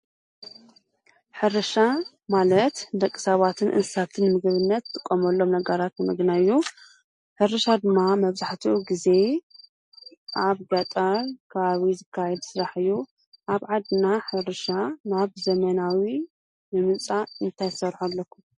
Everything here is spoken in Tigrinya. ሕርሻ ማለት ደቂ ሰባትን እንሳትንምግብነት ዝጥቆመሎም ነጋራት ምግናይ እዩ፡፡ ሕርሻ ድማ መብዛሕቲኡ ጊዜ ኣብ ገጠር ብዓብይኡ ዝካየድ ስራሕ እዩ፡፡ ኣብ ዓድና ሕርሻ ናብ ዘመናዊ ንምምጻእ እንታይ ክትሠርሑ ኣለኩም?